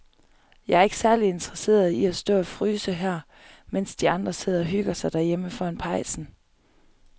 Jeg er ikke særlig interesseret i at stå og fryse her, mens de andre sidder og hygger sig derhjemme foran pejsen.